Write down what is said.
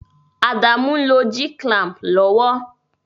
Adamu n lo G-clamp lowo